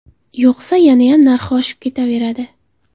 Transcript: Yo‘qsa, yanayam narxi oshib ketaveradi.